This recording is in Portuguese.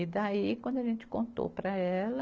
E daí, quando a gente contou para ela,